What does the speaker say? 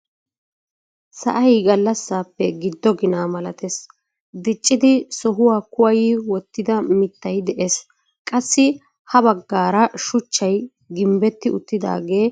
Sa'ay gallaasappe giddo ginaa malatees. diiccidi sohuwaa kuwayi wottida mittay de'ees. qassi ha baggaara shuchchay gimbbeti uttidagee bullatti uttagee de'ees.